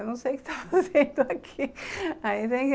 Eu não sei o que está fazendo aqui.